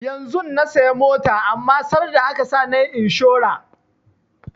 Yanzun na saya mota amma sarda aka sa nayi inshora